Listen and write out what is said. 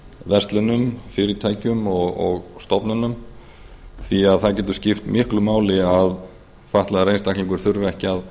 verslunum fyrirtækjum og stofnunum því það getur skipt miklu máli að fatlaður einstaklingur þurfi ekki að